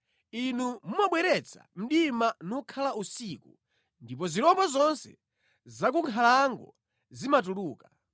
Inu mumabweretsa mdima nukhala usiku, ndipo zirombo zonse za ku nkhalango zimatuluka.